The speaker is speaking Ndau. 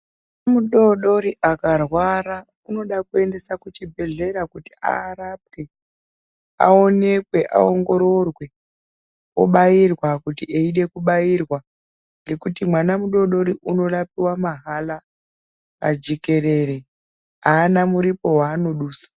Mwana mudodori akarwara unoda kuendesa kuchibhedhlera kuti arapwe, aonekwe, aongororwa obairwa kuti eide kubairwa ngekuti mwana mudodori unorapiwa mahara pajekerere, aana muripo waano dusa.